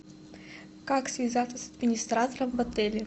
как связаться с администратором в отеле